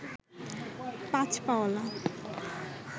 পাঁচ পা অলা